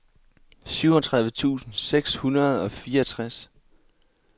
syvogtredive tusind seks hundrede og fireogtres